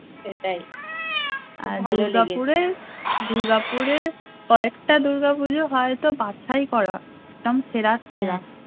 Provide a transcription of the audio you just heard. দুর্গাপুরে দুর্গাপুরে কয়েকটা দূর্গা পুজো হয়তো বাছাই করা একদম সেরা সেরা